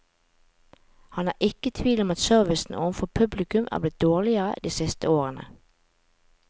Han er ikke i tvil om at servicen overfor publikum er blitt dårligere de siste årene.